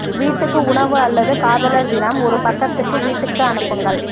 வீட்டுக்கு உணவு அல்லது காதலர் தினம் ஒரு பக்கத்து வீட்டுக்கு அனுப்புங்கள்